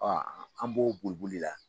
an b'o boli boli la.